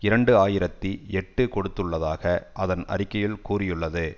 இரண்டு ஆயிரத்தி எட்டு கொடுத்துள்ளதாக அதன் அறிக்கையில் கூறியுள்ளது